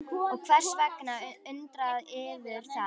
Og hvers vegna undrar yður það?